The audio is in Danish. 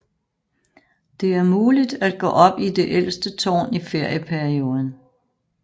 Det er muligt at gå op i det ældste tårn i ferieperionden